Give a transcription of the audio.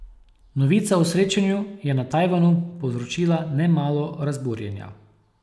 Novica o srečanju je na Tajvanu povzročila nemalo razburjenja.